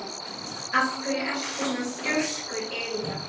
Af hverju ertu svona þrjóskur, Elíana?